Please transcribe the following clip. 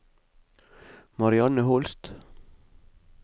Marianne Holst